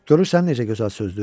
Görürsən necə gözəl sözdür?